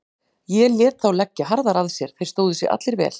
Ég lét þá leggja harðar að sér, þeir stóðu sig allir vel.